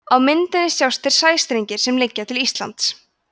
á myndinni sjást þeir sæstrengir sem liggja til íslands